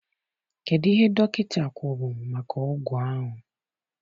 Kedụ ihe dọkịta kwuru maka ọgwụ ahụ?